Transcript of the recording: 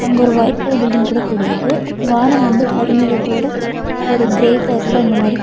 அங்க ஒரு white colour building கூட தெரியிது வானம் வந்து கருமேகத்தோட ஒரு கிரே கலர்ல அந்த மாரி.